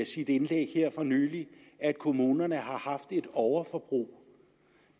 sit indlæg her for nylig at kommunerne har haft et overforbrug